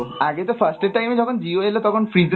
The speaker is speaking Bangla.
আগে তো first এর time এ যখন Jio এলো তখন free তে